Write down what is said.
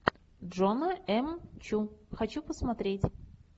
джона эм чу хочу посмотреть